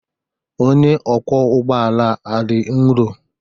Onye ọkwọ ụgbọ ala a dị nro.